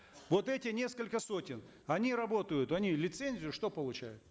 вот эти несколько сотен они работают они лицензию что получают